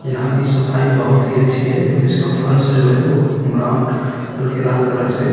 यहाँ की सफाई बहुत ही अच्छी है और इसका फर्श जो है वो ब्राउन हलके लाल कलर से --